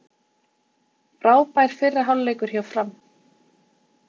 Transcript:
Frábær fyrri hálfleikur hjá Fram